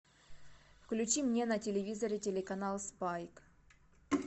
включи мне на телевизоре телеканал спайк